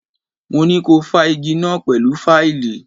Mo ní ko fá igí náà pẹ̀lú fáìlì!